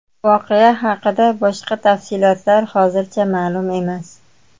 Voqea haqida boshqa tafsilotlar hozircha ma’lum emas.